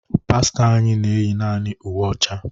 Pastọ anyị na eyi naanị uwe ọcha.